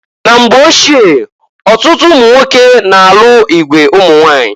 Na mgba ochie ọtụtụ ụmụnwoke na-alụ igwe ụmụnwanyị.